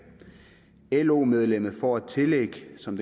lo medlemmet får et tillæg som